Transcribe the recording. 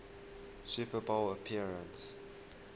super bowl appearance